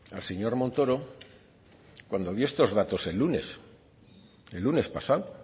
al señor montoro cuando dio estos datos el lunes el lunes pasado